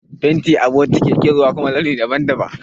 Fenti a bokiti yake zuwa a kuma launi daban-daban.